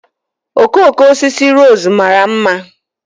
Okooko osisi rose mara mma